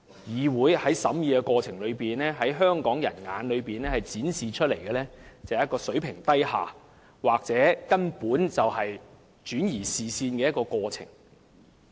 議會的審議工作，在香港人眼中展示出來的是一個水平低下或根本是轉移視線的過程。